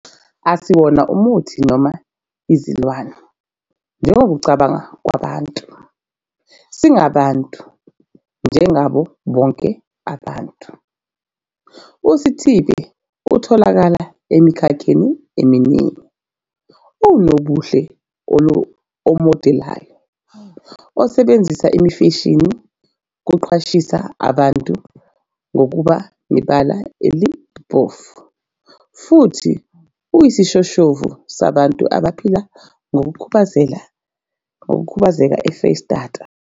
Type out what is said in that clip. "Asiwona umuthi noma izilwane njengokokucabanga kwabantu. Singabantu njengabo bonke ababantu."USithibe utholakala emikhakheni eminingi. Uwunobuhle omodelayo, osebenzisa imfashini ukuqwashisa abantu ngokuba nebala elimhlophe futhi uyisishoshovu sabantu abaphila nokukhubazeka eFreyistata."